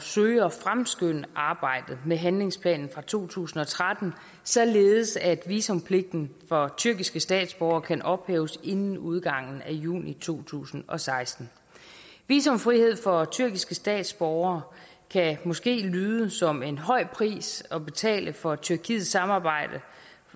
søge at fremskynde arbejdet med handlingsplanen fra to tusind og tretten således at visumpligten for tyrkiske statsborgere kan ophæves inden udgangen af juni to tusind og seksten visumfrihed for tyrkiske statsborgere kan måske lyde som en høj pris at betale for tyrkiets samarbejde